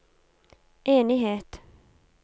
enighet